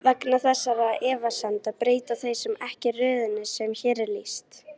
Vegna þessara efasemda breyta þeir ekki röðinni sem hér er lýst.